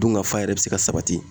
Dunkafa yɛrɛ be se ka sabati.